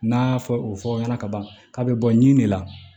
N'a fɔ o fɔ ɲɛna ka ban k'a bɛ bɔ ɲi de la